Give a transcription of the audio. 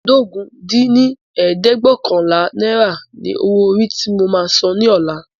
ẹ́ẹdógún dín ní ẹ̀ẹ́dẹ́gbẹ́ọ̀kànlá naira ni owó orí tí mo máa san ní ọ̀la